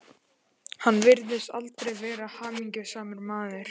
Hann virtist aldrei vera hamingjusamur maður.